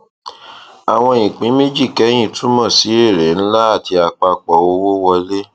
àwọn ìpín méjì kẹyìn túmọ sí èrè ńlá àti apapọ owó wọlé